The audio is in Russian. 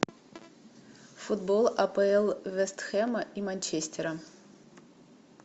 футбол апл вест хэма и манчестера